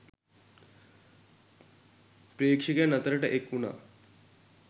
ප්‍රේක්ෂකයන් අතරට එක් වුණා